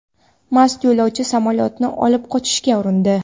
Mast yo‘lovchi samolyotni olib qochishga urindi.